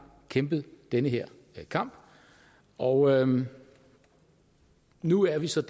kæmpet den her kamp og nu er vi så